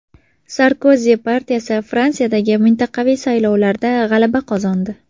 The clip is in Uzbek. Sarkozi partiyasi Fransiyadagi mintaqaviy saylovlarda g‘alaba qozondi.